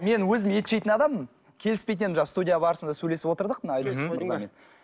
мен өзім ет жейтін адаммын келіспейтін едім жаңа студия барысында сөйлесіп отырдық